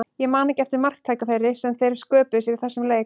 Ég man ekki eftir marktækifæri sem þeir sköpuðu sér í þessum leik.